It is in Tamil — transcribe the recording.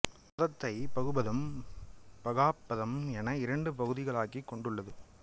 பதத்தை அது பகுபதம் பகாப்பதம் என இரண்டு பகுதிகளாக்கிக் கொண்டுள்ளது